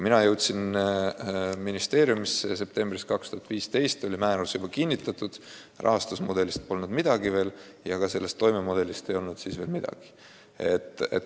Mina jõudsin ministeeriumisse septembris 2015 ja siis oli määrus juba kinnitatud, aga rahastus- ja toimemudelist ei olnud veel midagi kuulda.